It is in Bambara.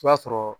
I b'a sɔrɔ